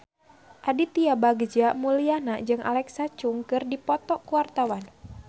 Aditya Bagja Mulyana jeung Alexa Chung keur dipoto ku wartawan